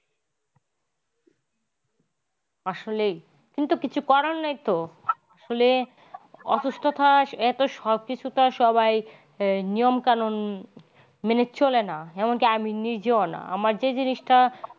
আসলেই কিন্তু কিছু করার নেই তো আসলে অসুস্থতায় এত সব কিছু তো আর সবাই নিয়ম কানুন মেনে চলেনা এমনকি আমি নিজেও না আমার কাছে জিনিসটা।